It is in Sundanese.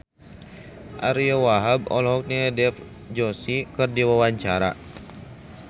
Ariyo Wahab olohok ningali Dev Joshi keur diwawancara